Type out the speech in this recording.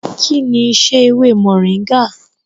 Kí ni isẹ́ ewé mọ̀nríngà?